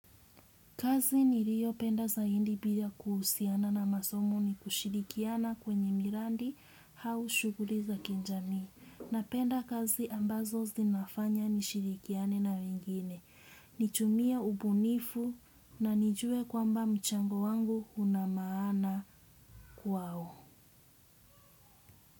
Kazi nirio penda zahindi bia kuhusiana na masomo ni kushirikiana kwenye mirandi hau shuguli za kinjamii. Napenda kazi ambazo zinafanya nishirikiane na wengine. Nitumia ubunifu na nijue kwamba mchango wangu una maana kwao.